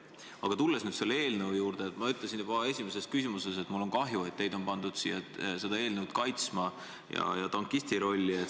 Aga kui tulla selle eelnõu juurde, siis ma ütlesin juba oma esimeses küsimuses, et mul on kahju, et teid on pandud siin seda eelnõu kaitsma ja tankisti rolli.